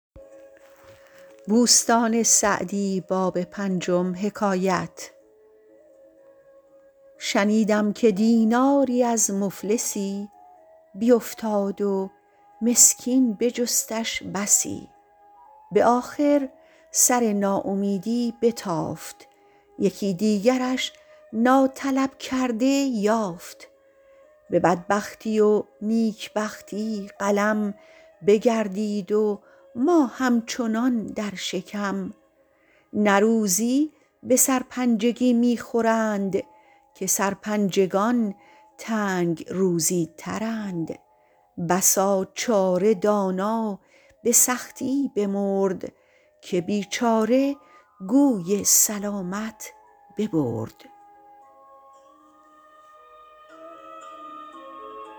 شنیدم که دیناری از مفلسی بیفتاد و مسکین بجستش بسی به آخر سر ناامیدی بتافت یکی دیگرش ناطلب کرده یافت به بدبختی و نیکبختی قلم بگردید و ما همچنان در شکم نه روزی به سرپنجگی می خورند که سرپنجگان تنگ روزی ترند بسا چاره دانا به سختی بمرد که بیچاره گوی سلامت ببرد